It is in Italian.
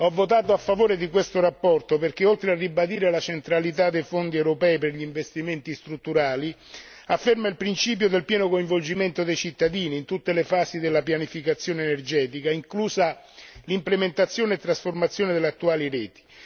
Ho votato a favore di questa relazione perché, oltre a ribadire la centralità dei fondi europei per gli investimenti strutturali, afferma il principio del pieno coinvolgimento dei cittadini in tutte le fasi della pianificazione energetica, inclusa l'implementazione e trasformazione delle attuali reti.